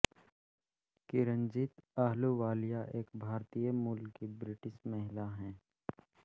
किरनजीत अहलूवालिया एक भारतीय मूल की ब्रिटिश महिला हैं